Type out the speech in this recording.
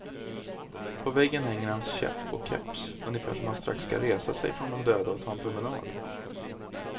På väggen hänger hans käpp och keps, ungefär som att han strax ska resa sig från de döda och ta en promenad.